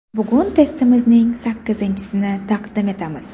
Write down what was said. Bugun testimizning sakkizinchisini taqdim etamiz.